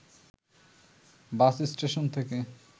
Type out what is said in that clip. বাস station থেকে